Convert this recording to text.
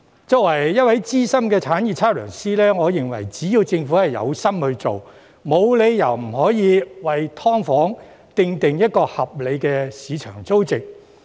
作為一位資深產業測量師，我認為只要政府有心做，沒有理由不可以為"劏房"訂定合理的市場租值。